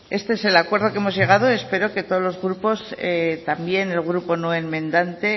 este es el acuerdo al que hemos llegado espero que todos los grupos también el grupo no enmendante